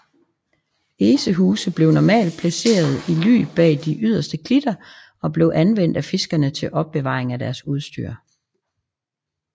Esehuse blev normalt placeret i ly bag de yderste klitter og blev anvendt af fiskerne til opbevaring af deres udstyr